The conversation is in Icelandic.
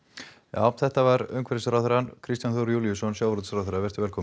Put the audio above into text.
já þetta var umhverfisráðherra Kristján Þór Júlíusson sjávarútvegsráðherra velkominn